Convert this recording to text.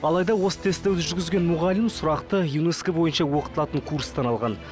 алайда осы тесті жүргізген мұғалім сұрақты юнеско бойынша оқытылатын курстан алған